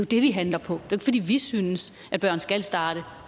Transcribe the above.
det vi handler på det er fordi vi synes at børn skal starte